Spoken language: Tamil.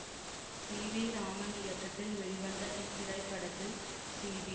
சி வி ராமன் இயக்கத்தில் வெளிவந்த இத்திரைப்படத்தில் சி வி